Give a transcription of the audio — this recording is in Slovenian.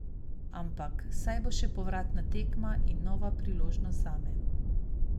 Ampak, saj bo še povratna tekma in nova priložnost zame.